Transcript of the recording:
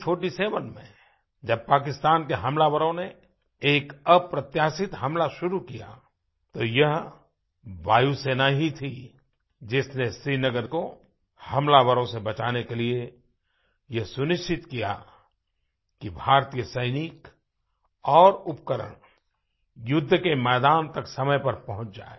1947 में जब पाकिस्तान के हमलावरों ने एक अप्रत्याशित हमला शुरू किया तो यह वायुसेना ही थी जिसने श्रीनगर को हमलावरों से बचाने के लिए ये सुनिश्चित किया कि भारतीय सैनिक और उपकरण युद्ध के मैदान तक समय पर पहुँच जाएँ